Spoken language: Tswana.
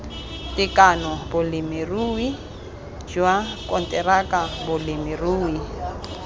tekano bolemirui jwa konteraka bolemirui